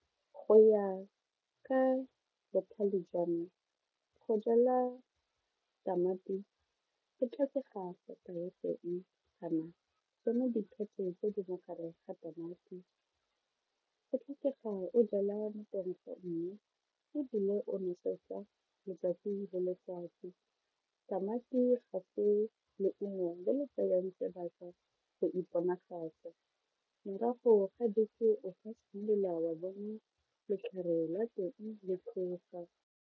Go ya ka botlhale jwa me go jala tamati go tlhokega sata ya feng kana tsone diphate tse di mogare ga tamati, go tlhokega mo teng ga mmu ebile o nosetsa letsatsi le letsatsi, tamati gape leungo le le tsayang sebaka go iponagatse morago ga wa bona letlhare la teng le tlhoga.